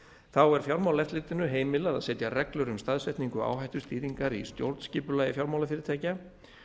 þá er fjármálaeftirlitinu heimilað að setja reglur um staðsetningu áhættustýringar í stjórnskipulagi fjármálafyrirtækja